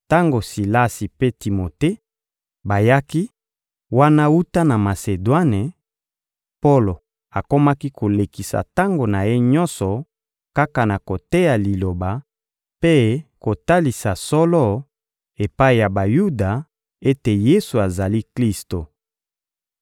Tango Silasi mpe Timote bayaki wana wuta na Masedwane, Polo akomaki kolekisa tango na ye nyonso kaka na koteya Liloba mpe kotalisa solo epai ya Bayuda ete Yesu azali Klisto.